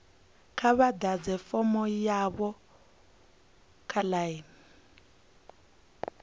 kha vha ḓadze fomo yavho online